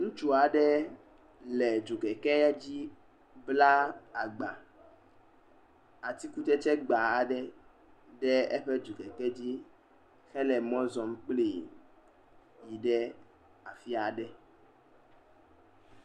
Ŋutsu aɖe le dzokɛkɛ aɖe dzi bla agba; atikutsetsegba aɖe ɖe eƒe dzokɛkɛ hele mɔ zɔm kpli yi ɖe afi aɖe.